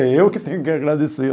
É eu que tenho que agradecer.